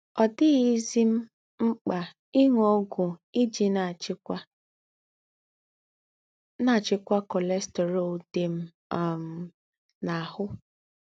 Ọ̀ dì̀ghízí m m̀kpá ìṅù ógwù ijí nà-àchíkwá nà-àchíkwá cholesterol dí m um n’àhù́